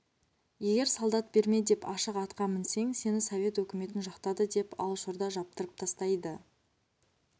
егер солдат берме деп ашық атқа мінсең сені совет өкіметін жақтады деп алашорда жаптырып тастайды